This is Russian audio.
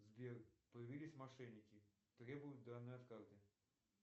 сбер появились мошенники требуют данные от карты